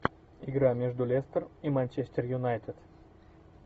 игра между лестер и манчестер юнайтед